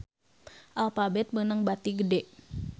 Alphabet meunang bati gede